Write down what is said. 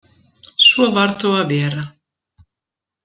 Svo varð þó að vera.